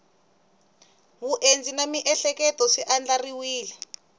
vundzeni na miehleketo swi andlariwile